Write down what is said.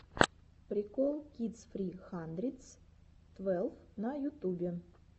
прикол кидс фри хандридс твелв на ютубе